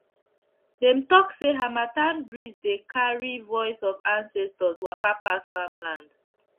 dem talk say harmattan breeze dey carry voice of ancestors waka pass farmland